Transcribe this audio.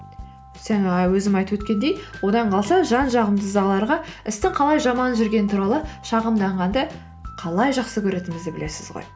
өзім айтып өткендей одан қалса жан жағымыздағыларға істің қалай жаман жүргені туралы шағымданғанды қалай жақсы көретінімізді білесіз ғой